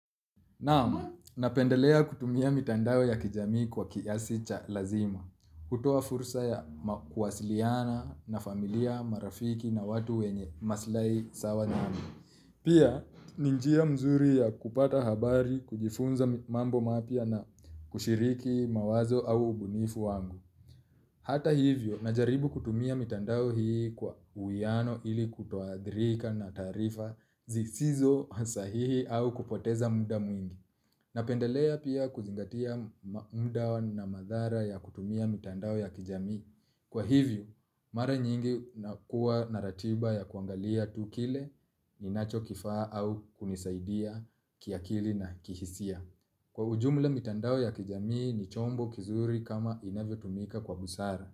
Naam, napendelea kutumia mitandao ya kijamii kwa kiasi cha lazima, kutuoa fursa ya kuwasiliana na familia marafiki na watu wenye masilahi sawa nami. Pia, ni njia nzuri ya kupata habari, kujifunza mambo mapya na kushiriki mawazo au ubunifu wangu. Hata hivyo, najaribu kutumia mitandao hii kwa uiano ili kutoathirika na taarifa zisizo sahihi au kupoteza muda mwingi. Napendelea pia kuzingatia muda na madhara ya kutumia mitandao ya kijami. Kwa hivyo, mara nyingi nakuwa na ratiba ya kuangalia tukile ninachokifaa au kunisaidia kiakili na kihisia. Kwa ujumla mitandao ya kijami ni chombo kizuri kama inavyotumika kwa busara.